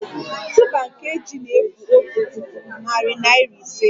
Tuuba nke ji na-efu otu puku, narị naịra ise